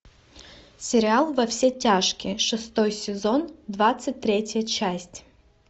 сериал во все тяжкие шестой сезон двадцать третья часть